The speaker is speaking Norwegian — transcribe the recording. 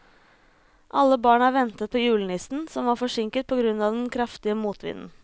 Alle barna ventet på julenissen, som var forsinket på grunn av den kraftige motvinden.